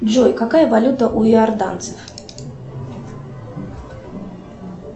джой какая валюта у иорданцев